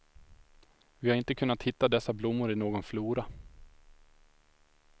Vi har inte kunnat hitta dessa blommor i någon flora.